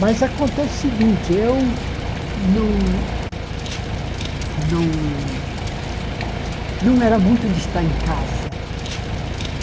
Mas acontece o seguinte, eu não... Não não era muito de estar em casa.